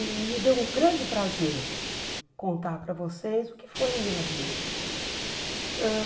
E me deu um grande prazer contar para vocês o que foi a minha vida ãh.